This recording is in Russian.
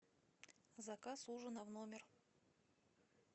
заказ ужина в номер